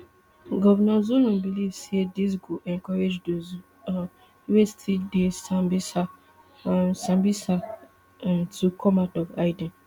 governor zulum believe say dis go encourage dose um wey still dey sambisa um sambisa um to come out of hiding